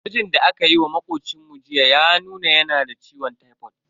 Gwajin da akayi wa makocinmu jiya ya nuna yana da ciwon tipod.